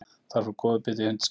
Þar fór góður biti í hundskjaft